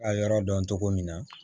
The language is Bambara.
A yɔrɔ dɔn cogo min na